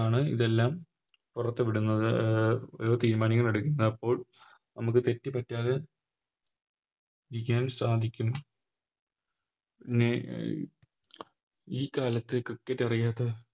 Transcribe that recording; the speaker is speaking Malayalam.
ആണ് ഇതെല്ലം പുറത്ത് വിടുന്നത് അഹ് തീരുമാനങ്ങളെടുക്കുന്നത് അപ്പോൾ നമുക്ക് തെറ്റ് പറ്റാതെ കാൻ സാധിക്കും അഹ് ഈ കാലത്ത് Cricket അറിയാത്ത